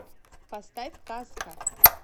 поставь казка